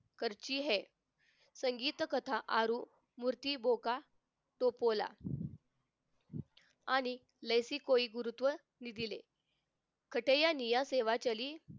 करती है संगीत कथा आरु मूर्ती भोका टोपोला आणि नैसी कोई गुरुत्व निधीले खटय्या नेवा सेवा चली